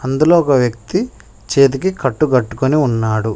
అందులో ఒక వ్యక్తి చేతికి కట్టు కట్టుకొని ఉన్నాడు.